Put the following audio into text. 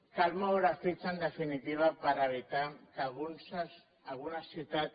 cal moure fitxa en definitiva per evitar que algunes ciutats